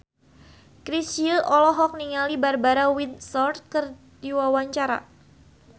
Chrisye olohok ningali Barbara Windsor keur diwawancara